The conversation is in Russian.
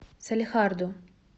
салехарду